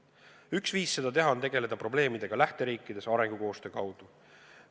Üks viis seda teha on tegeleda probleemidega lähteriikides arengukoostöö kaudu.